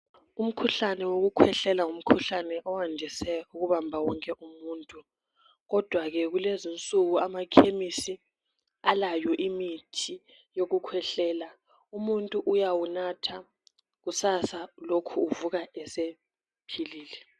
Umkhuhlane wokukhwehlela ngumkhuhlane owandise ukubamba wonke umuntu, kodwa kulezinsuku ama chemistry alayo imithi yokukhwehlela umuntu uyawunatha kusasa lokhu uvuka esephilile